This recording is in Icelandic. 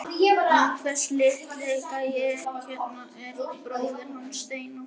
Og þessi litli gæi hérna er bróðir hans Steina.